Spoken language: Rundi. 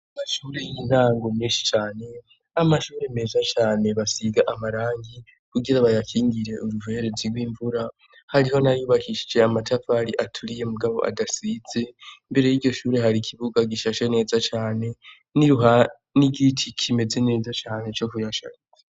Amashure yintango menshi cane n'amashure meza cane basiga amarangi kugira bayakingire uruverezi rw'imvura hariho nayubakishije amatafari aturiye mugabo adasize, imbere yiryo shure hari ikibuga gishashe neza cane, nruha n'igiti kimeze neza cyane cyo kuyashaze